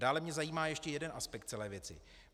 Dále mě zajímá ještě jeden aspekt celé věci.